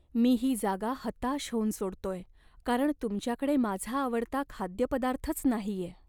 मी ही जागा हताश होऊन सोडतोय कारण तुमच्याकडे माझा आवडता खाद्यपदार्थच नाहीये.